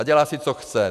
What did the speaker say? A dělá si, co chce.